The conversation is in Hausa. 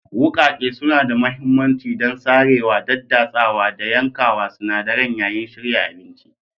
Wuƙaƙe suna da mahimmanci don sarewa, daddatsawa, da yankawa sinadaran yayin shirya abinci.